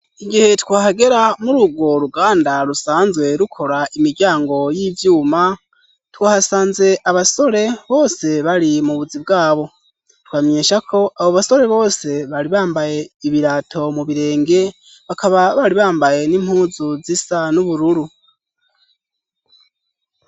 igihe twahagera muri urwo ruganda rusanzwe rukora imiryango y'ivyuma twahasanze abasore bose bari mu buzi bwabo twamenyesha ko abo basore bose bari bambaye ibirato mu birenge bakaba bari bambaye n'impuzu z'isa n'ubururu